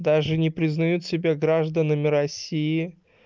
даже не признают себя гражданами россии